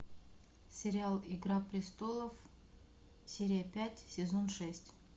сериал игра престолов серия пять сезон шесть